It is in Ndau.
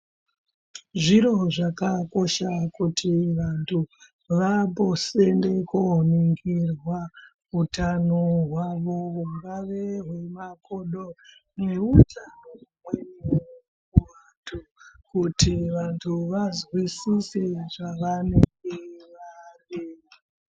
Zviro zvakakosha kuti vandu vamboende kundoningirwa hutano hwavo hungave hwemakodo nehutano humweni kuti vantu vazwisise zvavanenge vari.